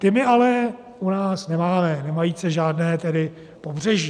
Ty my ale u nás nemáme, nemajíce tedy žádné pobřeží.